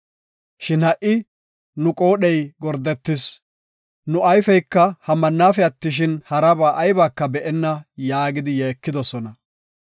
Shin ha77i nu qoodhey gordetis; nu ayfeyka ha mannafe attishin, haraba aybaka be7enna” yaagidi yeekidosona.